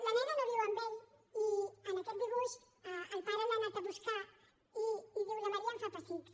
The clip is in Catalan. la nena no viu amb ell i en aquest dibuix el pare l’ha anat a buscar i diu la maria em fa pessics